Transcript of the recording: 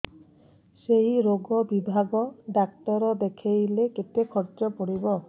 ସେଇ ରୋଗ ବିଭାଗ ଡ଼ାକ୍ତର ଦେଖେଇଲେ କେତେ ଖର୍ଚ୍ଚ ପଡିବ